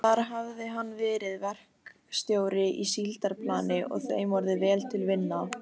Þar hafði hann verið verkstjóri á síldarplani og þeim orðið vel til vina.